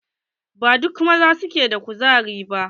Ba duka maza ke da ƙuzari ba